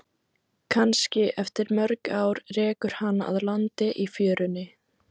Kannski eftir mörg ár rekur hana að landi í fjörunni.